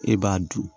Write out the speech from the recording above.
E b'a dun